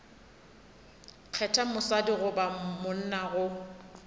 kgetha mosadi goba monna go